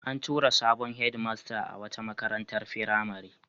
An tura sabon hedmasta a wata makarantar firamare.